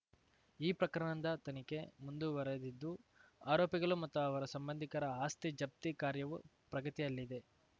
ಈ ಪ್ರಕರಣದ ತನಿಖೆ ಮುಂದುವರೆದಿದ್ದು ಆರೋಪಿಗಳು ಮತ್ತು ಅವರ ಸಂಬಂಧಿಕರ ಆಸ್ತಿ ಜಪ್ತಿ ಕಾರ್ಯವು ಪ್ರಗತಿಯಲ್ಲಿದೆ